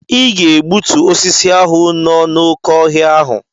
Ịga egbutu osisi ahụ no na oké ọhịa ahụ!